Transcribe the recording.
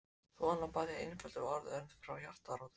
Svona bað ég einföldum orðum en frá hjartarótum.